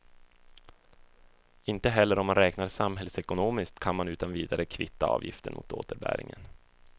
Inte heller om man räknar samhällsekonomiskt kan man utan vidare kvitta avgiften mot återbäringen.